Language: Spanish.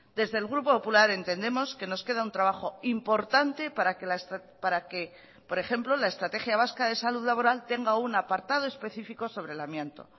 desde el grupo popular entendemos que nos queda un trabajo importante para que por ejemplo la estrategia vasca de salud laboral tenga un apartado específico sobre el amianto